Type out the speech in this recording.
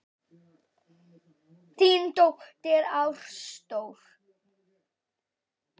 Þín dóttir, Ástrós.